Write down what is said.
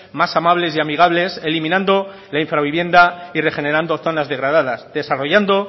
más amables y amigables eliminando la infravivienda y regenerando zonas degradadas desarrollando